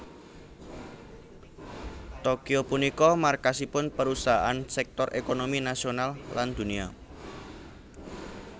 Tokyo punika markasipun perusahaan sektor ékonomi nasional lan dunia